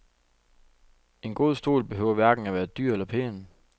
En god stol behøver hverken at være dyr eller pæn.